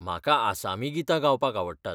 म्हाका आसामी गितां गावपाक आवडटात.